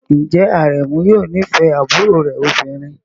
Ǹjẹ́ Aremu yóò nífẹ̀ẹ́ àbúrò rẹ̀ obìnrin?